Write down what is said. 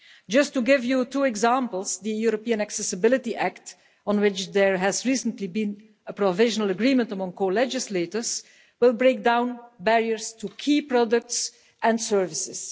Just to give you two examples the European Accessibility Act, on which there has recently been a provisional agreement among co legislators, will break down barriers to key products and services.